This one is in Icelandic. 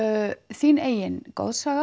þitt eigið